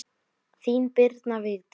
Þín, Birna Vigdís.